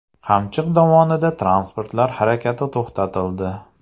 Qamchiq dovonida transportlar harakati to‘xtatildi.